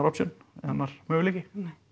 annar möguleiki nei